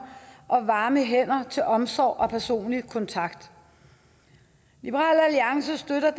og varme hænder til omsorg og personlig kontakt liberal alliance støtter